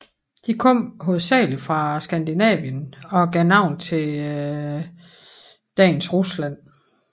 De kom hovedsagelig fra Skandinavien og gav navn til dagens Rusland